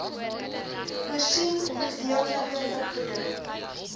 voorsien gedeeltelike vergoeding